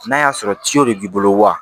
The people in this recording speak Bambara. N'a y'a sɔrɔ de b'i bolo wa